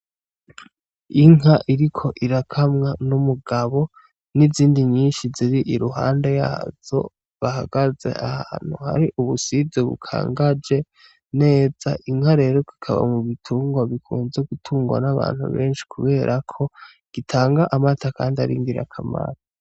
Inka iriko irakamwa n'umugabo n'izindi nyinshi ziri iruhande yazo bahagaze ahantu har'ubusize bukangaje neza inka rero gikaba mu bitungwa bikunze gutungwa n'abantu benshi, kubera ko gitanga amata, kandi ari girakamaro.